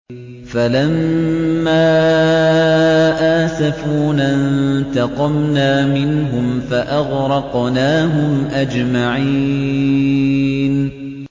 فَلَمَّا آسَفُونَا انتَقَمْنَا مِنْهُمْ فَأَغْرَقْنَاهُمْ أَجْمَعِينَ